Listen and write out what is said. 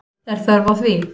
Er þörf á því?